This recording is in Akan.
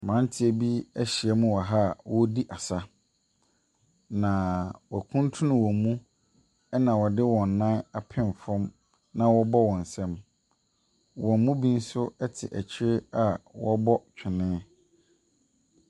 Mmeranteɛ bi ahyiamu wɔ ha wɔredi asɛm. Na wɔakutunu wɔn mu na wɔde wɔn nan apem fam na wɔrebɔ wɔn nsam. Wɔn mu binom nso te akyire a wɔrebɔ twene.